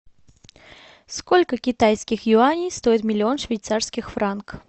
сколько китайских юаней стоит миллион швейцарских франк